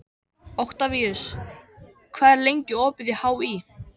Oktavíus, hvað er lengi opið í HÍ?